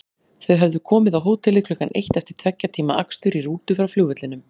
Þau höfðu komið á hótelið klukkan eitt eftir tveggja tíma akstur í rútu frá flugvellinum.